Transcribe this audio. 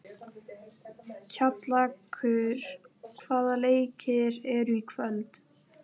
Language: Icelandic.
Kjallakur, hvaða leikir eru í kvöld?